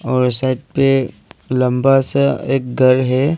और साइट पे लंबा सा एक घर है।